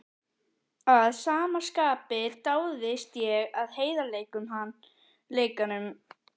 Að sama skapi dáðist ég að heiðarleikanum, hann útheimti kjark.